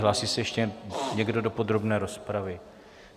Hlásí se ještě někdo do podrobné rozpravy?